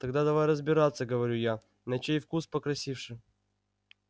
тогда давай разбираться говорю я на чей вкус покрасивше